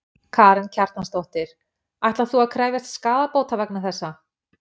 Karen Kjartansdóttir: Ætlar þú að krefjast skaðabóta vegna þessa?